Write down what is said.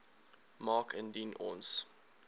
maak indien ons